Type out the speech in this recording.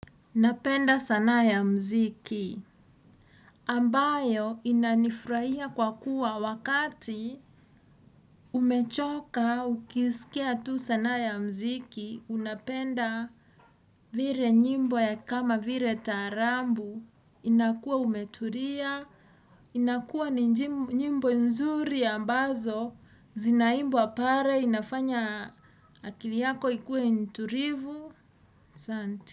Napenda sanaa ya mziki, ambayo inanifurahia kwa kuwa wakati umechoka ukisikia tu sanaa ya mziki, unapenda vile nyimbo ya kama vile tarabu, inakua umetulia, inakua njimbo nzuri ambazo, zinaimbwa pale, inafanya akili yako ikuwe nitulivu, asanti.